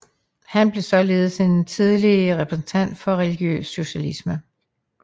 Han blev således en tidlig repræsentant for religiøs socialisme